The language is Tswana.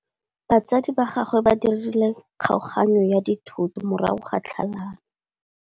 Batsadi ba gagwe ba dirile kgaoganyô ya dithoto morago ga tlhalanô.